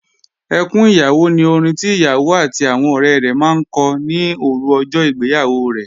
Ẹkún ìyàwó ni orin tí ìyàwó àti àwọn ọ̀rẹ rẹ̀ máa ń kọ ní òru ọjọ́ ìgbéyàwó rẹ̀